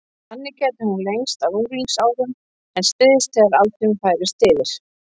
Þannig gæti hún lengst á unglingsárum en styst þegar aldurinn færist yfir.